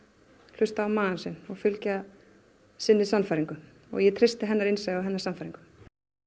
hlusta á magann sinn og fylgja sinni sannfæringu og ég treysti hennar innsæi og hennar sannfæringu